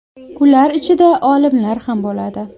Ular ichida olimlar ham bo‘ladi.